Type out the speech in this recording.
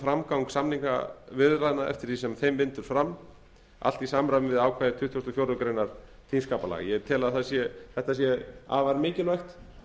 framgang samningaviðræðna eftir því sem þeim vindur fram allt í samræmi við ákvæði tuttugasta og fjórðu greinar þingskapalaga ég tel að þetta sé afar mikilvægt